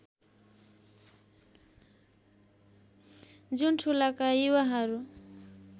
जुन ठूलाका युवाहरू